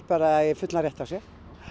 bara eiga fullan rétt á sér